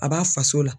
A b'a faso la